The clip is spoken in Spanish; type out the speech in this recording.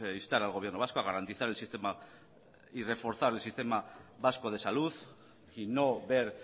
instar al gobierno vasco a garantizar el sistema y reforzar el sistema vasco de salud y no ver